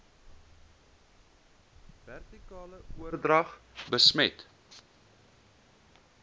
vertikale oordrag besmet